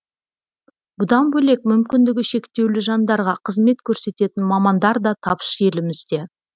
бұдан бөлек мүмкіндігі шектеулі жандарға қызмет көрсететін мамандар да тапшы елімізде